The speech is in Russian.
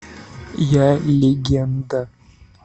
я легенда